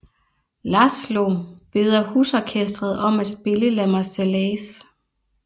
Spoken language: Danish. Laszlo beder husorkestret om at spille La Marseillaise